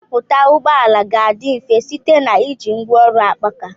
Nchọpụta ụgbọ ala ga-adị mfe site na iji ngwaọrụ akpaaka.